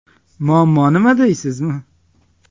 Muammo nima deysizmi?